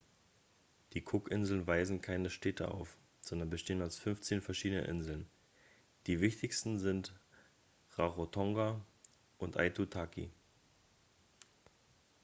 die cookinseln weisen keine städte auf sondern bestehen aus 15 verschiedenen inseln die wichtigsten sind rarotonga und aitutaki